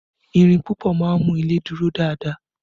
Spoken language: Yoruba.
Ìrìn púpọ̀ máa ń mú ilé dúró dáadáa